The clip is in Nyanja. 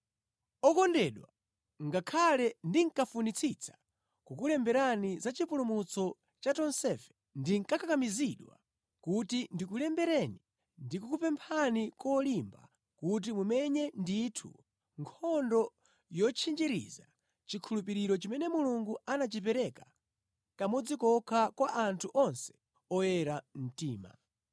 Okondedwa, ngakhale ndinkafunitsitsa kukulemberani za chipulumutso cha tonsefe, ndakakamizidwa kuti ndikulembereni ndi kukupemphani kolimba kuti mumenye ndithu nkhondo yotchinjiriza chikhulupiriro chimene Mulungu anachipereka kamodzi kokha kwa anthu onse oyera mtima.